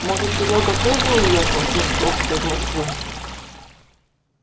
может серёга тоже уехал с московской в москву